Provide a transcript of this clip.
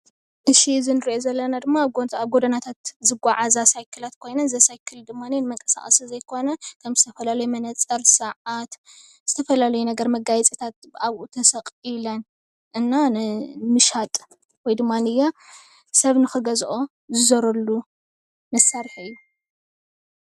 እዚ እንሪኦ ዘለና ድማ ኣብ ጎደናታት ዝጓዓዛ ሳይክላት ኮይነን እዘን ሳይክል ድማ ንመንቀሳቂ ዘይኮነ ከም ዝተፈላለዩ መነፀር ሰዓት ዝተፈላለዩ ነገራት መጋየፅታት ኣብኡ ተሰቂለን እና ንምሻጥ ወይ ድማ ሰብ ንክገዝኦ ዝዘረሉ መሳርሒ እዩ፡፡